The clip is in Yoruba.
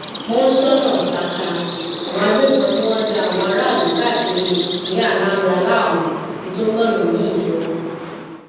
monsónà saka àwọn agbébọn tí wọn ń da àwọn aráàlú káàkiri ìpínlẹ anambra láàmú ti tún gbóná miín yọ